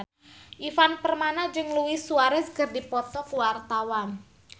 Ivan Permana jeung Luis Suarez keur dipoto ku wartawan